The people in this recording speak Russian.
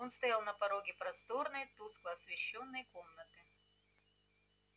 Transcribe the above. он стоял на пороге просторной тускло освещённой комнаты